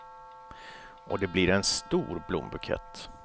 Och det blir en stor blombukett.